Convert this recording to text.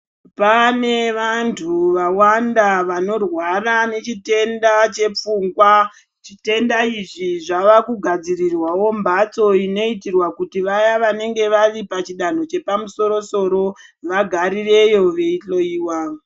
Pane vantu vawanda vanorwara nechitenda chepfungwa, zvitenda izvi zvavakugadzirirwawo mbatso inoitirwa kuti vaya vanenge varipachidanho chepamusoro-soro vagarireyo veihloiwa.